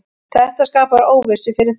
Þetta skapar óvissu fyrir þá.